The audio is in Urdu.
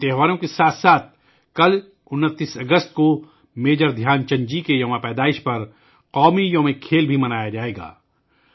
ان تہواروں کے ساتھ ساتھ کل 29 اگست کو میجر دھیان چند جی کے یوم پیدائش پر قومی کھیلوں کا دن بھی منایا جائے گا